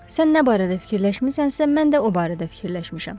Sən nə barədə fikirləşmisənsə, mən də o barədə fikirləşmişəm.